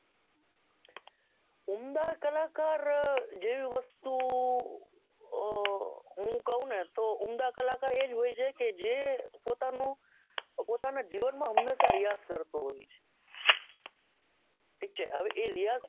ઉમદા કલાકાર અ જેવી વસ્તુ અ ઉમદા કલાકાર છે આપડે કઈ રીતે કહી શકો હું કહું ને તો ઉમદા કલાકાર એજ હોય છે કે જે પોતાના જીવન માં હમેશા રીયાઝ કરતો હોય ઠીક છે એ રીયાઝ